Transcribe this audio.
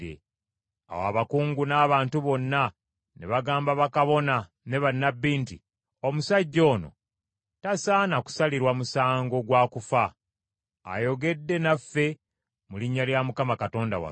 Awo abakungu n’abantu bonna ne bagamba bakabona ne bannabbi nti, “Omusajja ono tasaana kusalirwa musango gwa kufa! Ayogedde naffe mu linnya lya Mukama Katonda waffe.”